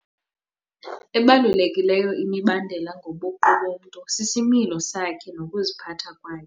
Ebalulekileyo imibandela ngobuqu bomntu sisimilo sakhe nokuziphatha kwakhe.